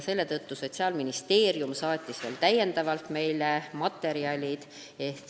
Seetõttu saatis Sotsiaalministeerium veel täiendavalt meile materjale.